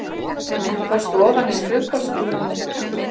Fórstu ofan í skrifborðsskúffuna?